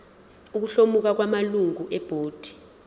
ukuhlomula kwamalungu ebhodi